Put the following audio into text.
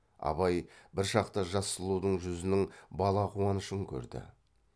абай бір шақта жас сұлудың жүзінің бала қуанышын көрді